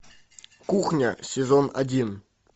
кухня сезон один